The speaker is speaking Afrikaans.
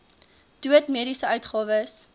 dood mediese uitgawes